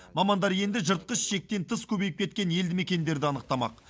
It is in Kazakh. мамандар енді жыртқыш шектен тыс көбейіп кеткен елді мекендерді анықтамақ